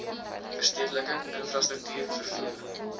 verstedeliking infrastruktuur vervoer